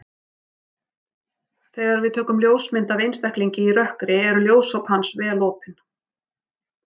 Þegar við tökum ljósmynd af einstaklingi í rökkri eru ljósop hans vel opin.